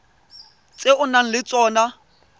tse o nang le tsona